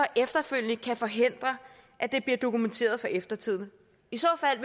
efterfølgende kan forhindre at det bliver dokumenteret for eftertiden i så fald